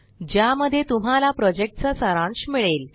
ज्या मध्ये तुम्हाला प्रोजेक्ट चा सारांश मिळेल